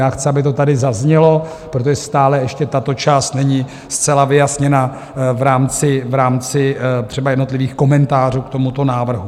Já chci, aby to tady zaznělo, protože stále ještě tato část není zcela vyjasněna v rámci třeba jednotlivých komentářů k tomuto návrhu.